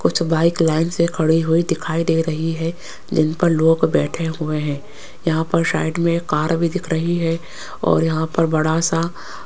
कुछ bike line से खड़ी हुई दिखाई दे रही है जिन पर लोग बैठे हुए हैं यहां पर साइड में एक कार भी दिख रही है और यहां पर बड़ा सा --